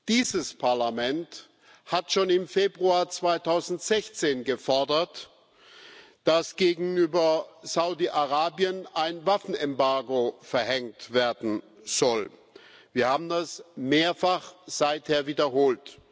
Dieses Parlament hat schon im Februar 2016 gefordert, dass gegenüber Saudi Arabien ein Waffenembargo verhängt werden soll. Wir haben das seither mehrfach wiederholt.